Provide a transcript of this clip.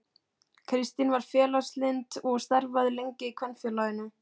Kristín var félagslynd og starfaði lengi í Kvenfélaginu.